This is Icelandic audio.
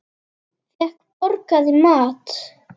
Fékk borgað í mat.